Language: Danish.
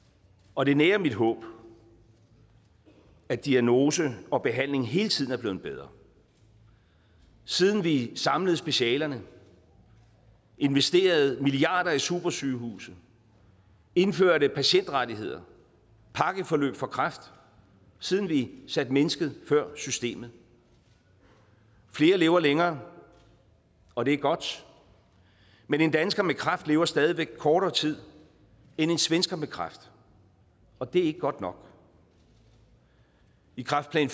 og det nærer mit håb at diagnose og behandling hele tiden er blevet bedre siden vi samlede specialerne investerede milliarder i supersygehuse indførte patientrettigheder pakkeforløb for kræft siden vi satte mennesket før systemet flere lever længere og det er godt men en dansker med kræft lever stadig væk kortere tid end en svensker med kræft og det er ikke godt nok i kræftplan